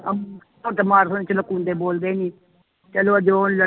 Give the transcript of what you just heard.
ਅਮ ਹੁਣ ਤਾਂ ਚ ਨਕੁੰਦੇ ਬੋਲਦੇ ਹੀ ਚਲੋ ਜੋ ਲੜੇ